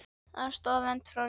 Aðstoð og vernd frá ríkinu